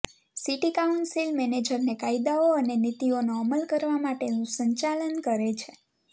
city council મેનેજરને કાયદાઓ અને નીતિઓનો અમલ કરવા માટેનું સંચાલન કરે છે